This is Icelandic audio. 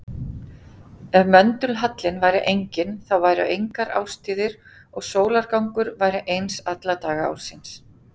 Ef möndulhallinn væri enginn þá væru engar árstíðir og sólargangur væri eins alla daga ársins.